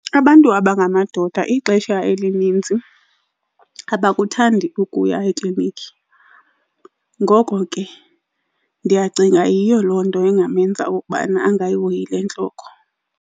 Abantu aba ngamadoda ixesha elininzi abakuthandi ukuya eklinikhi, ngoko ke ndiyacinga yiyo loo nto engamenza ukubana angayihoyi le ntloko.